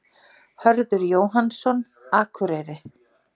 Hörður Jóhannsson, Akureyri